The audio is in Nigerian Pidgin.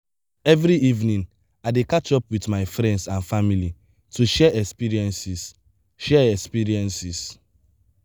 every evening i dey catch up with my friends and family to share experiences. share experiences.